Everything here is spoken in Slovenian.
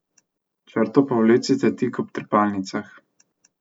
Črto povlecite tik ob trepalnicah.